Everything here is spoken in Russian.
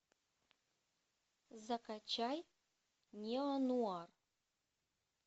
закачай неонуар